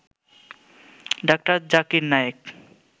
ড. জাকির নায়েক